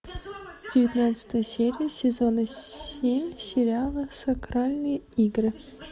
девятнадцатая серия сезона семь сериала сакральные игры